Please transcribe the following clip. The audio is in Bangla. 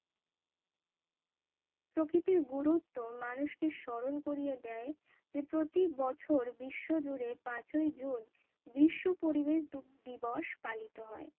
প্রকৃতির গুরুত্ব মানুষকে স্মরণ করিয়ে দেয় যে প্রতি বছর বিশ্ব জুড়ে পাঁচই জুন বিশ্ব পরিবেশ দিবস পালিত হয়